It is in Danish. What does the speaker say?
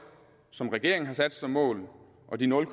som regeringen har sat som mål og de nul